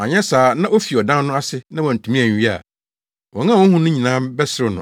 Anyɛ saa na ofi ɔdan no ase na wantumi anwie a, wɔn a wohu no nyinaa bɛserew no,